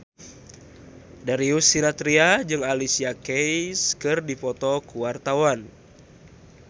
Darius Sinathrya jeung Alicia Keys keur dipoto ku wartawan